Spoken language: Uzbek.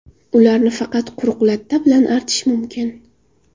Ularni faqat quruq latta bilan artish mumkin.